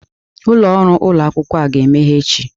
Ụlọrụ ụlọ akwụkwọ a ga-emeghe echi.